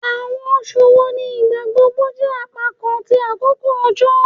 Awọn oṣu wo ni igbagbogbo jẹ apakan ti akoko ojo?